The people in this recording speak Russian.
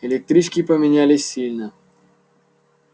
электрички поменялись сильно